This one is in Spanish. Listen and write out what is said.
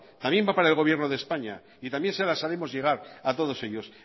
también va para el gobierno de españa y también se las haremos llegar a todos ellos